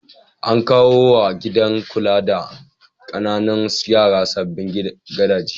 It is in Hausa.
An kawo wa gidan kula da ƙananan yara sabbin gadaje.